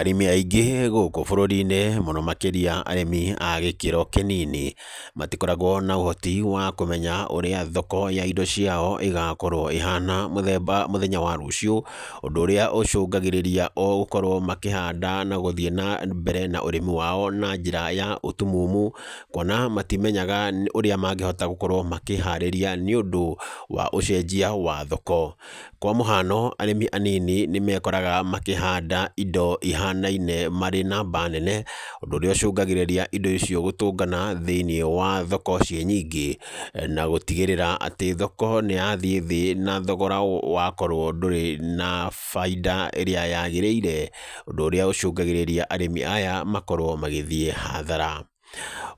Arĩmi aingĩ gũkũ bũrũri-inĩ mũno makĩria arĩmi a gĩkĩro kĩnini, matikoragwo na ũhoti wa kũmenya ũrĩa thoko ya indo ciao ĩgakorwo ĩhana mũthemba mũthenya wa rũciũ, ũndũ ũrĩa ũcũngagĩrĩria o gũkorwo makĩhanda na gũthiĩ na mbere na ũrĩmi wao na njĩra ya ũtumumu, kuona matimenyaga ũrĩa mangĩhota gũkorwo makĩharĩria nĩũndũ wa ũcenjia wa thoko, kwa mũhano arĩmi anini nĩmekoraga makĩhanda indo ihanaine marĩ namba nene ũndũ ũrĩa ũcũngagĩrĩria indo icio gũtũngana thĩiniĩ wa thoko ciĩ nyingĩ na gũtigĩrĩra atĩ thoko nĩyathiĩ thĩ na thogora wakorwo ndũrĩ na bainda ĩrĩa yagĩrĩire, ũndũ ũrĩa ũcũngagĩrĩria arĩmi aya makorwo magĩthiĩ hathara.